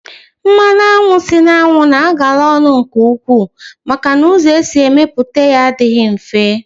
Mmanụ anwụ si n'anwu na agara ọnụ nke ukwuu maka na ụzọ esi emeputa ya adịghị mfe